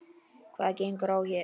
Hvað gengur hér á?